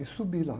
E subi lá.